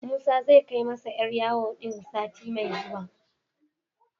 Musa zai kai masa 'yar yawon din sati mai zuwa.